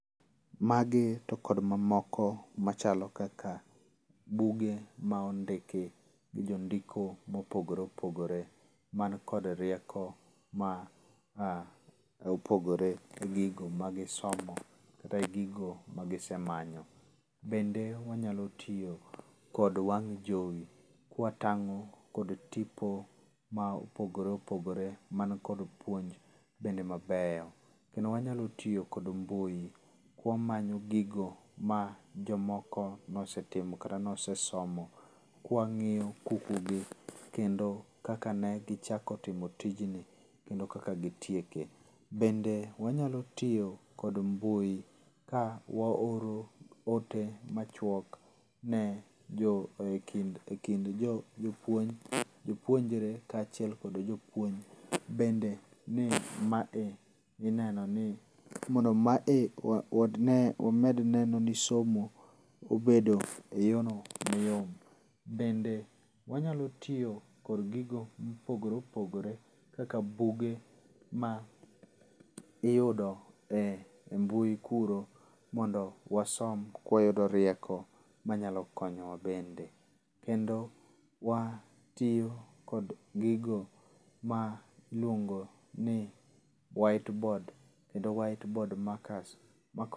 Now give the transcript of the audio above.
Magi to kod mamoko machalo kaka buge ma ondiki gi jo ndiko mopogore opogore man kod rieko ma a opogore gi gigo ma gisomo kata gigo magisemanyo. Bende wanyolo tiyo kod wang' jowi kwatang'o kod tipo ma opogore opogore man kod puonj bende mabeyo. Kendo wanyalo tiyo kod mbui ka wamanyo gigo ma jomoko nosetimo kata nosesomo kwa wang'iyo kuku gi kendo kaka negichako timo tujni kendo kaka gitieke. Bende wanyalo tiyo kod mbui ka waoro ote machuok ne jo ekind jopuonjre ka achiel kod jopuonj. Bende ne ma e ineno ni mondo ma e wamed neno ni somo obedo e yo no mayom. Bende wanyalo tiyo kod gigo mopogore opogore kaka buge ma iyudo e mbui kuro mondo wasom ka wayudo rieko manyalo konyo wa bende. Kendo watiyo kod gigo ma iluongo ni white board kendo white board markers.